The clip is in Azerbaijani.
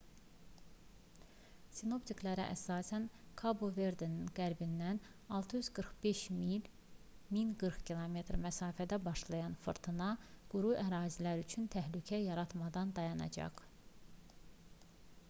sinoptiklərə əsasən kabo-verdenin qərbindən 645 mil 1040 km məsafədə başlayan fırtına quru ərazilər üçün təhlükə yaratmadan dayanacaq